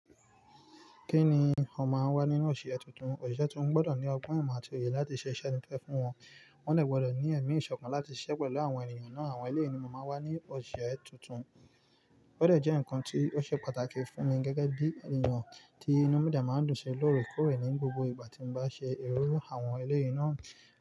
Kí ni ó máa ń wá nínú òṣìṣẹ́ tuntun? Òṣìṣẹ́ tuntun gbọ́dọ̀ ní ọgbọ́n ìmọ̀ àti òye láti ṣe iṣẹ́ tuntun te fún wọn, wọ́n dè gbọ́dọ̀ ní ẹ̀mí ìṣọ̀kan láti ṣiṣẹ́ pẹ̀lú àwọn ènìyàn náà. Àwọn eléyìn ni mo máa wá ní òṣìṣẹ́ tuntun gbọ́dọ̀ jẹ́ nǹkan tí ó ṣe pàtàkì fún mi gẹ́gẹ́ bí ènìyàn tí inú mígí máa ń dùn ṣe lórí kórè ní gbogbo ìgbà tí mo bá ṣe ìrírí àwọn eléyìí náà.